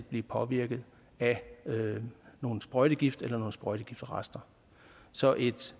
blive påvirket af nogle sprøjtegifte eller sprøjtegiftrester så et